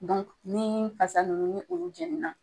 Dɔnku nii fasa nunnu ni olu jɛni na